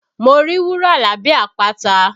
Mo rí wúrà lábẹ́ àpáta